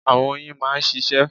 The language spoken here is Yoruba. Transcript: Àwọn oyin a máa ṣíṣe